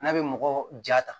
N'a bɛ mɔgɔ ja ta